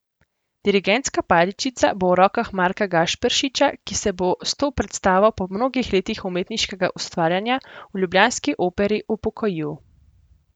Dirigentska paličica bo v rokah Marka Gašperšiča, ki se bo s to predstavo po mnogih letih umetniškega ustvarjanja v ljubljanski Operi upokojil.